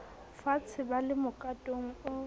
faatshe ba le mokatong o